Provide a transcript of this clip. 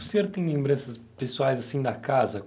O senhor tem lembranças pessoais, assim, da casa?